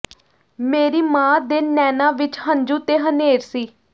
ਮੇਰੀ ਮਾਂ ਦੇ ਨੈਣਾਂ ਵਿਚ ਹੰਝੂ ਤੇ ਹਨ੍ਹੇਰ ਸੀ